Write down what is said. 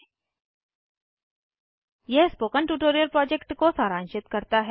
httpspoken tutorialorgWhat is a Spoken Tutorial यह spoken tutorial project को सारांशित करता है